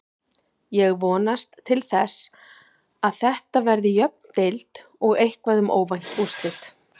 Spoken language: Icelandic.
Ég vonast til þess að Þetta verði jöfn deild og eitthvað um óvænt úrslit.